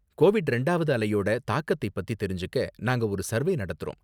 Covid ரெண்டாவது அலையோட தாக்கத்தை பத்தி தெரிஞ்சுக்க நாங்க ஒரு சர்வே நடத்தறோம்.